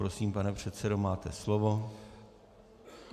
Prosím, pane předsedo, máte slovo.